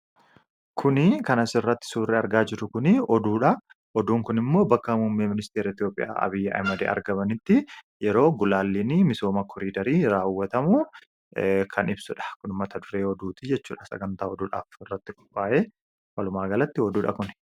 kuni kanas irratti suurri argaa jiru kunii oduudha hoduun kun immoo bakka muummee ministeer Itiopiyaa Abiyi Ahimed argamanitti yeroo gulaallinii misooma koriidarii raawwatamu kan ibsudha kun mata duree oduutii jechuuha sagantaa oduudhaaf irratti kophaa'e walumaa galatti oduudha kun